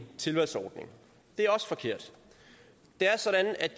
tilvalgsordning det er også forkert det er sådan at